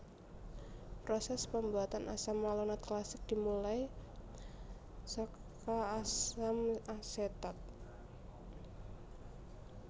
Proses pembuatan asam malonat klasik dimulai saka asam asetat